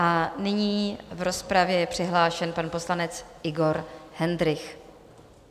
A nyní v rozpravě je přihlášen pan poslanec Igor Hendrych.